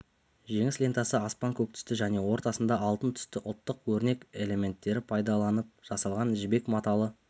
жеңіс лентасы аспан көк түсті және ортасында алтын түсті ұлттық өрнек элементтері пайдаланып жасалған жібек маталы